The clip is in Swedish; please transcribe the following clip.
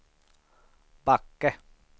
Backe